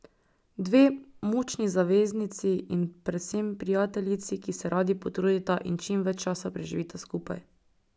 Dve močni zaveznici in predvsem prijateljici, ki se radi potrudita in čim več časa preživita skupaj.